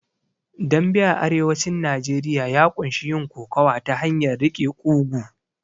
Dambe a arewacin Najeriya ya ƙunshi yin kokowa ta hanyar riƙe ƙugu